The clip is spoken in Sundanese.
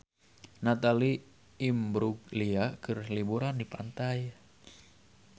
Natalie Imbruglia keur liburan di pantai